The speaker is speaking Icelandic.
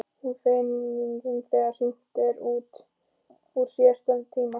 Hún er fegin þegar hringt er út úr síðasta tíma.